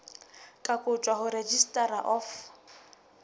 ka kotjwa ho registrar of